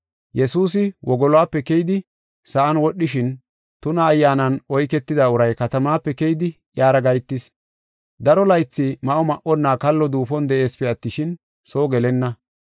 Yesuusi wogolope keyidi sa7an wodhishin tuna ayyaanan oyketida uray katamaape keydi iyara gahetis. Daro laythi ma7o ma7onna kallo duufon de7eesipe attishin, soo gelenna.